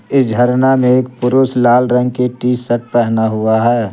इस झरना में एक पुरुष लाल रंग की टी शर्ट पहना हुआ है।